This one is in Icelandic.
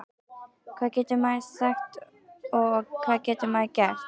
Hvað getur maður sagt og hvað getur maður gert?